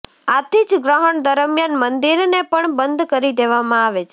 આથી જ ગ્રહણ દરમિયાન મંદિરને પણ બંધ કરી દેવામાં આવે છે